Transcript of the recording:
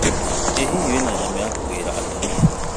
ĩ hihi wĩna nyamũ ya kũgĩra atumia.